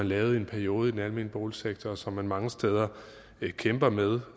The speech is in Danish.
lavet i en periode i den almene boligsektor og som man mange steder kæmper med